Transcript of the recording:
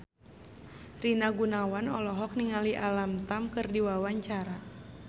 Rina Gunawan olohok ningali Alam Tam keur diwawancara